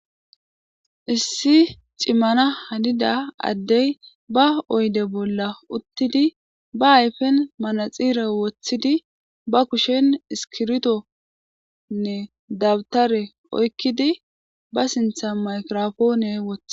issi cimmana hanida addey ba oyde bolla uttidi ba ayfen manaxire woththidi ba kushen iskirtonne dawutare oykkidi ba sintha maykirofoone wotha